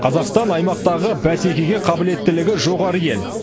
қазақстан аймақтағы бәсекеге қабілеттілігі жоғары ел